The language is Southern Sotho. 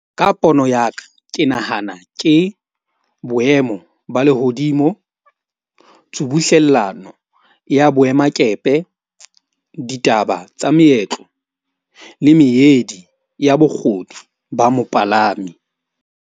Ka pono ya ka ke nahana ke boemo ba lehodimo, tshubuhlellano ya boemakepe, ditaba tsa meetlo le meedi ya ba mopalami.